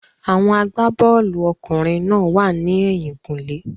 Àwọn agbá-bọ́ọ̀lù ọkùnrin náà wà ní ẹ̀yìn-kùlé.